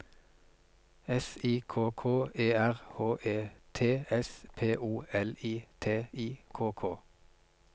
S I K K E R H E T S P O L I T I K K